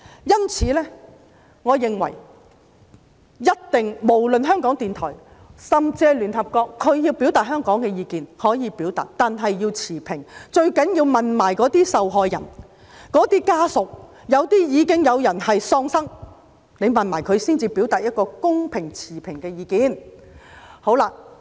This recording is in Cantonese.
因此，我認為無論是港台或是聯合國，它們要表達對香港的意見，可以表達，但要持平，最重要的是，要一併詢問那些受害人和家屬，有一些人已喪生，要一併詢問他們的家屬才能表達一個公平及持平的意見。